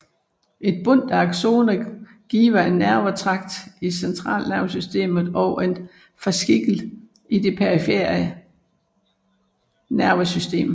Et bundt axoner giver en nervetragt i centralnervesystemet og en fascikel i det perifere nervesystem